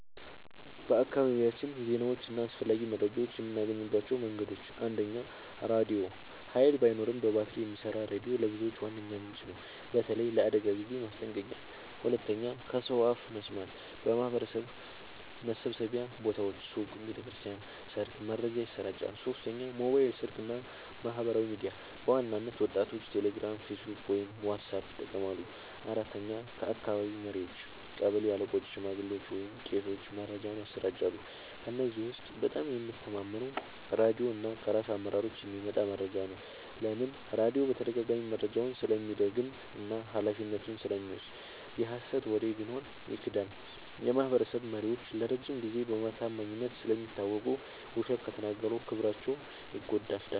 በአካባቢያችን ዜናዎችን እና አስፈላጊ መረጃዎችን የምናገኝባቸው መንገዶች፦ 1. ራድዮ – ኃይል ባይኖርም በባትሪ የሚሰራ ሬዲዮ ለብዙዎች ዋነኛ ምንጭ ነው፣ በተለይ ለአደጋ ጊዜ ማስጠንቀቂያ። 2. ከሰው አፍ መስማት – በማህበረሰብ መሰብሰቢያ ቦታዎች (ሱቅ፣ ቤተ ክርስቲያን፣ ሰርግ) መረጃ ይሰራጫል። 3. ሞባይል ስልክ እና ማህበራዊ ሚዲያ – በዋናነት ወጣቶች ቴሌግራም፣ ፌስቡክ ወይም ዋትስአፕ ይጠቀማሉ። 4. ከአካባቢ መሪዎች – ቀበሌ አለቆች፣ ሽማግሌዎች ወይም ቄሶች መረጃን ያሰራጫሉ። ከእነዚህ ውስጥ በጣም የምተማመነው ራድዮ እና ከራስ አመራሮች የሚመጣ መረጃ ነው። ለምን? · ራድዮ በተደጋጋሚ መረጃውን ስለሚደግም እና ኃላፊነቱን ስለሚወስድ። የሀሰት ወሬ ቢኖር ይክዳል። · የማህበረሰብ መሪዎች ለረጅም ጊዜ በታማኝነት ስለሚታወቁ፣ ውሸት ከተናገሩ ክብራቸው ይጎዳል።